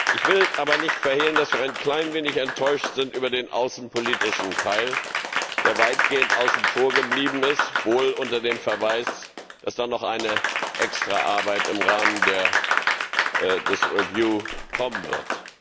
Ich will aber nicht verhehlen, dass wir ein klein wenig enttäuscht sind über den außenpolitischen Teil, der weitgehend außen vor geblieben ist, wohl unter dem Verweis, dass da noch eine Extraarbeit im Rahmen der Überarbeitung kommen wird.